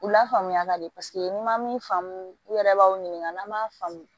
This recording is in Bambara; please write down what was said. U la faamuya ka di n'i ma min faamu u yɛrɛ b'aw ɲininka n'an m'a faamu